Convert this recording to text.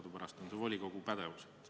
Teadupärast on see volikogu pädevuses.